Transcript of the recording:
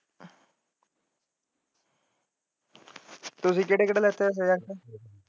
ਤੁਸੀ ਕਿਹੜੇ ਕਿਹੜੇ ਲਿੱਤੇ ਹੈ ਸੁਬਜੇਕ੍ਟ?